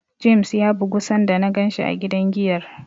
James ya bugu sanda na ganshi a gidan giyar.